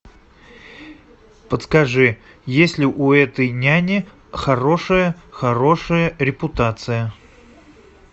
подскажи есть ли у этой няни хорошая хорошая репутация